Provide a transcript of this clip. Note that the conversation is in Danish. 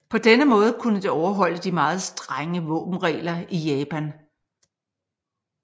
På denne måde kunne det overholde de meget strenge våbenregler i Japan